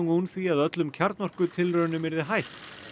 un því að öllum yrði hætt